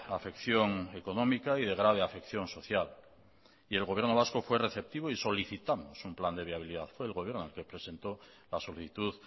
afección económica y de grave afección social y el gobierno vasco fue receptivo y solicitamos un plan de viabilidad fue el gobierno el que presentó la solicitud